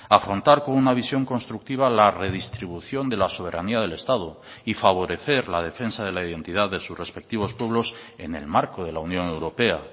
afrontar con una visión constructiva la redistribución de la soberanía del estado y favorecer la defensa de la identidad de sus respectivos pueblos en el marco de la unión europea